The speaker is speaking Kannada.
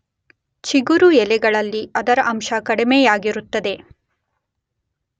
ಚಿಗುರು ಎಲೆಗಳಲ್ಲಿ ಅದರ ಅಂಶ ಕಡಿಮೆಯಾಗಿರುತ್ತದೆ.